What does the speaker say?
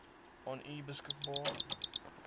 aan u beskikbaar